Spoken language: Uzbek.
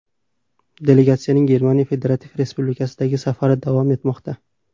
Delegatsiyaning Germaniya federativ respublikasidagi safari davom etmoqda.